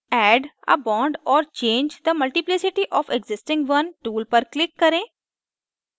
add a bond or change the multiplicity of existing one tool पर click करें